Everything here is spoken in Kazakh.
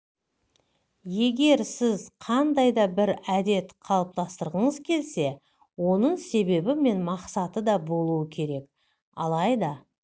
егер сіз қандай да бір әдет қалыптастырғыңыз келсе оның себебі мен мақсаты да болуы керек алайда